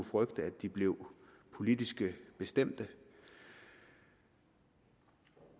frygte at de blev politisk bestemte og